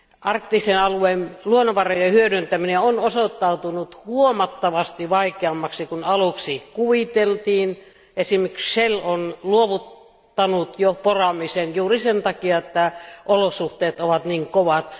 Arktisen alueen luonnonvarojen hyödyntäminen on osoittautunut huomattavasti vaikeammaksi kuin aluksi kuviteltiin, esim. Shell on jo luopunut poraamisesta juuri sen takia, että olosuhteet ovat niin kovat.